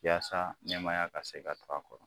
Yasa nɛmaya ka se ka to a kɔrɔ.